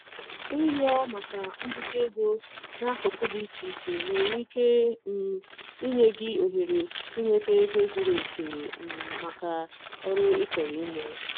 Ịrịọ maka mbute ego n'akụkụ dị iche iche nwere ike um inye gị ohere inweta ego zuru oke um maka oru ị chọrọ ime.